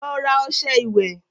Lọ rà ọṣẹ ìwẹ̀